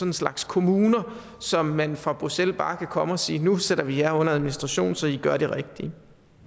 en slags kommuner så man fra bruxelles bare kan komme og sige nu sætter vi jer under administration så i gør det rigtige